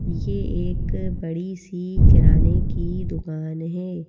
ये एक बड़ी सी किराने की दुकान हैं।